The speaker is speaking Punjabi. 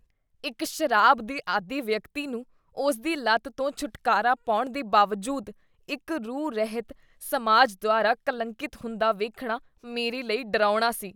ਇੱਕ ਸ਼ਰਾਬ ਦੇ ਆਦੀ ਵਿਅਕਤੀ ਨੂੰ ਉਸਦੀ ਲਤ ਤੋਂ ਛੁਟਕਰਵਾ ਪਾਉਣ ਦੇ ਬਾਵਜੂਦ ਇੱਕ ਰੂਹ ਰਹਿਤ ਸਮਾਜ ਦੁਆਰਾ ਕਲੰਕਿਤ ਹੁੰਦਾ ਵੇਖਣਾ ਮੇਰੇ ਲਈ ਡਰਾਉਣਾ ਸੀ